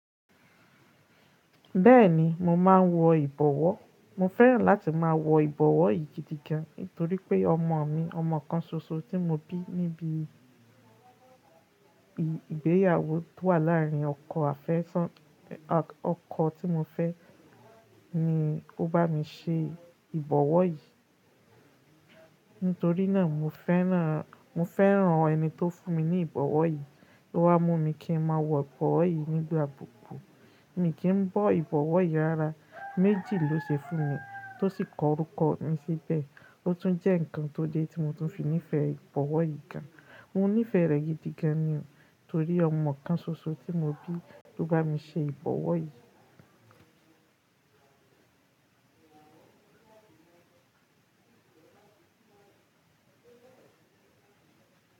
Bẹ́ẹ̀ni mo máa ń wọ ìbọwọ́. Mo fẹ́ràn láti máa wọ ìbọwọ́ yìí gidi gan, nítorí pé ọmọ mi, ọmọ kan ṣoṣo tí mo bí níbi ìgbéyàwó tó wà láàárín ọkọ àfẹ́sán, ọkọ tí mo fẹ́ ni ó bá mi ṣe ìbọwọ́ yìí. Nítorí náà mo fẹ́ràn, mo fẹ́ràn ẹni tó fún mi ní ìbọwọ́ yìí, tó wá mú mi kí n máa wọ ìbọwọ́ yìí nígbà gbogbo. Kì í kí n bọ ìbọwọ́ yìí ara, méjì ló ṣe fún mi tó sì korúkọ mi síbẹ̀. Ó tún jẹ́ ǹkan tó dé tí mo tún fi nífẹ̀ẹ́ ìbọwọ́ yìí gan. Mo nífẹ̀ẹ́ rẹ̀ gidi gan ni o, torí ọmọ kan ṣoṣo tí mo bí ló bá mi ṣe ìbọwọ́ yìí.